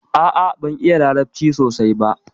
A'a, ban iya larabci sosai ɓa.